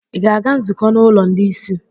Ị̀ ga-aga nzukọ n’ụlọ ndị ìsì?